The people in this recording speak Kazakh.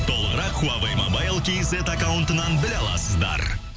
толығырақ хуавей мобайл кейзет аккаунтынан біле аласыздар